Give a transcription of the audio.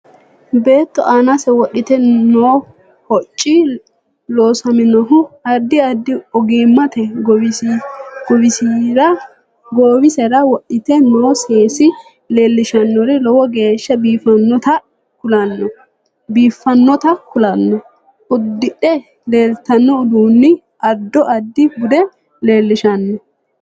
Beetto aanse wodhite noo hocci loosaminohu addi addi ogimaniiti goowisera wodhite noo seesi leelishannori lowo geesha biifinotta kulanno udidhe leeltanno uduuni addo addi bude leelishanno